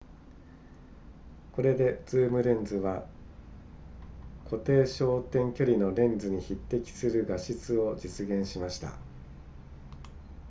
これでズームレンズは固定焦点距離のレンズに匹敵する画質を実現しました